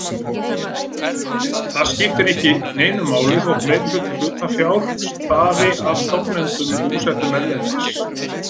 Ekki skiptir neinu máli þótt meirihluti hlutafjár stafi frá stofnendum búsettum erlendis.